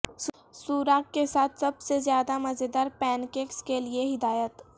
سوراخ کے ساتھ سب سے زیادہ مزیدار پینکیکس کے لئے ہدایت